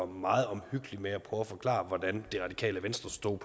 meget omhyggelig med at prøve at forklare hvordan det radikale venstre stod